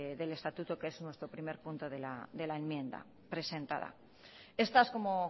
del estatuto que es nuestro primer punto de la enmienda presentada estas como